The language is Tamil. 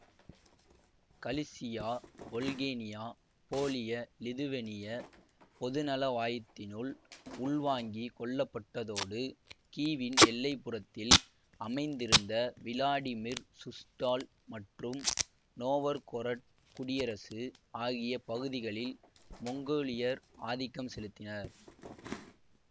கலிசியாவொல்கேனியா போலியலிதுவேனிய பொதுநலவாயத்தினுள் உள்வாங்கிக் கொள்ளப்பட்டதோடு கீவின் எல்லைப்புறத்தில் அமைந்திருந்த விளாடிமிர்சுஸ்டால் மற்றும் நோவர்கொரட் குடியரசு ஆகிய பகுதிகளில் மொங்கோலியர் ஆதிக்கம் செலுத்தினர்